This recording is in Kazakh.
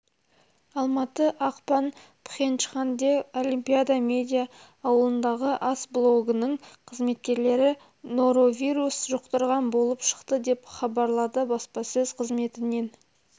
алматы ақпан пхенчханде олимпиада медиа ауылындағы ас блогының қызметкерлері норовирус жұқтырған болып шықты деп хабарлады баспасөз қызметінен